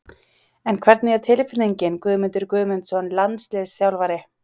En hvernig er tilfinningin Guðmundur Guðmundsson landsliðsþjálfari?